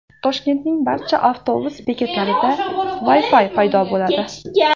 Toshkentning barcha avtobus bekatlarida Wi-Fi paydo bo‘ladi.